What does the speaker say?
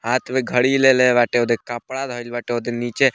हाथ में घड़ी लेले बाटे ओदे कपड़ा धइल बाटे ओदे नीचे --